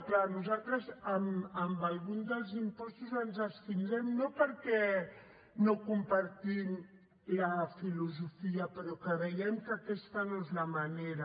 clar nosaltres en alguns dels impostos ens abstindrem no perquè no en compartim la filosofia però creiem que aquesta no és la manera